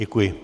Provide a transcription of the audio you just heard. Děkuji.